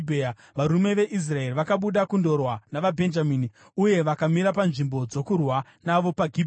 Varume veIsraeri vakabuda kundorwa navaBhenjamini uye vakamira panzvimbo dzokurwa navo paGibhea.